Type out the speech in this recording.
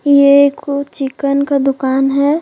ये चिकन का दुकान है।